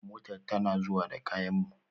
Motar tana zuwa da kayan mu